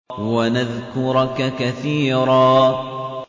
وَنَذْكُرَكَ كَثِيرًا